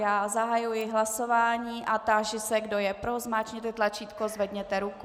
Já zahajuji hlasování a táži se, kdo je pro, zmáčkněte tlačítko, zvedněte ruku.